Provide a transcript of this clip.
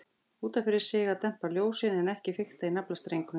Út af fyrir sig að dempa ljósin, en ekki fikta í naflastrengnum.